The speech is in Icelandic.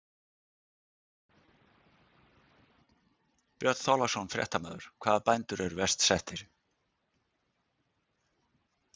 Björn Þorláksson, fréttamaður: Hvaða bændur eru verst settir?